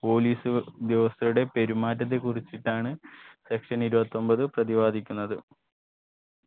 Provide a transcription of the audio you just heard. police ഉദ്യോഗസ്ഥരുടെ പെരുമാറ്റത്തെ കുറിച്ചിട്ടാണ് section ഇരുപത്തൊമ്പത് പ്രതിപാദിക്കുന്നത്